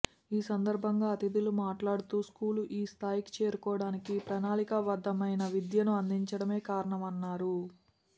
ఈ సందర్భంగా అతిథులు మాట్లాడుతూ స్కూలు ఈ స్థాయికి చేరుకోవడానికి ప్రణాళికాబద్ధమైన విద్యను అందించడమే కారణమన్నారు